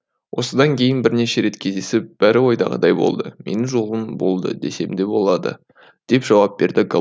осыдан кейін бірнеше рет кездесіп бәрі ойдағыдай болды менің жолым болды десем де болады деп жауап берді